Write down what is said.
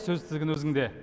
сөз тізгіні өзіңде